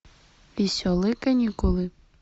веселые каникулы